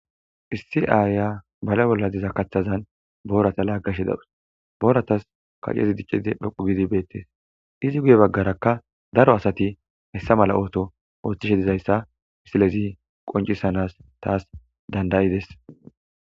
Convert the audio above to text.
Issi aaya bala bolla diza kaththazan boorata laaggash dawus booratas kacezi diccidi phoqu gidi beettees izi guye baggarakka daro asati hessa mala ooto ooththishe dizayssa isilezi qoncisanas taas dandayides.